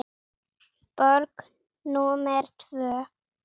Borg númer tvö.